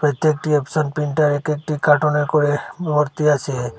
এটি একটি offset printer এটি একটি কার্টোনে করে মোর্তি আসে।